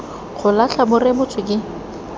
go latlha bo rebotswe ke